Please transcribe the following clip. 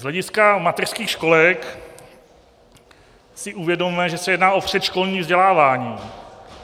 Z hlediska mateřských školek si uvědomme, že se jedná o předškolní vzdělávání.